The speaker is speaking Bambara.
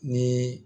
Ni